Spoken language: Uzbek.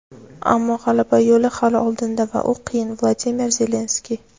ammo g‘alaba yo‘li hali oldinda va u qiyin – Vladimir Zelenskiy.